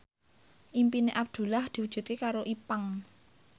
impine Abdullah diwujudke karo Ipank